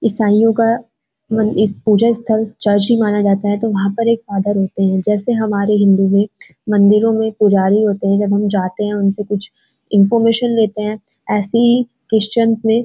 ईसाईयों का पूजा स्‍थल चर्च ही माना जाता हैं तो वहाँ पे एक फादर होते हैं जैसे हमारे हिन्‍दू में मंदिरों में पुजारी होते है जब हम जाते हैं उनसे कुछ इनफॉरमेशन लेते हैं ऐसे ही क्रिस्टिचयन में --